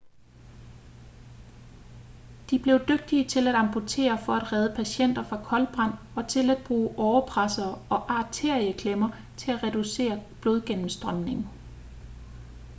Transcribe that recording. de blev dygtige til at amputere for at redde patienter fra koldbrand og til at bruge årepressere og arterieklemmer til at reducere blodgennemstrømningen